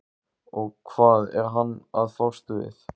Og hvað er hann að fást við?